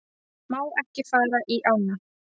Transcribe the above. Má ekki fara í ána